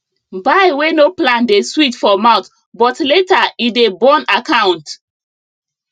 buy wey no plan dey sweet for mouth but later e dey burn account